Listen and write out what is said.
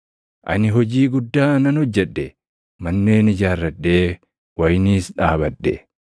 Ani hojii guddaa nan hojjedhe: Manneen ijaarradhee wayiniis dhaabadhe.